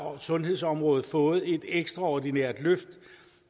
sundhedsområdet fået et ekstraordinært løft